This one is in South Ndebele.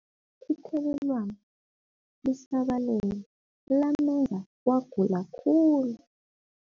Ithelelwano lisabalele lamenza wagula khulu.